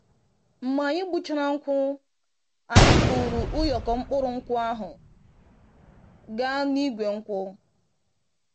Mgbe anyị gbuchara nkwụ, anyị buru ụyọkọ mkpụrụ nkwụ ahụ gaa n'igwe nkwụ.